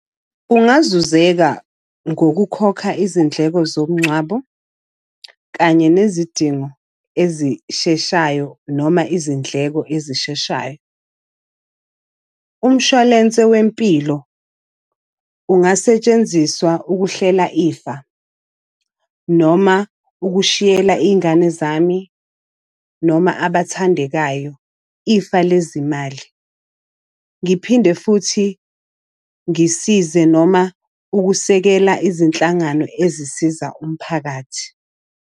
Kungazuzeka ngokukhokha izindleko zomngcwabo, kanye nezidingo ezisheshayo noma izindleko ezisheshayo. Umshwalense wempilo, ungasentshenziswa ukuhlela ifa, noma ukushiyela iy'ngane zami noma abathandekayo ifa lezimali. Ngiphinde futhi ngisize noma ukusekela izinhlangano ezisiza umphakathi.